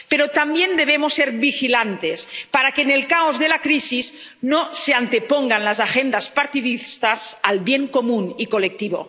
Pero también debemos ser vigilantes para que, en el caos de la crisis, no se antepongan las agendas partidistas al bien común y colectivo.